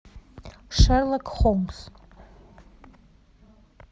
шерлок холмс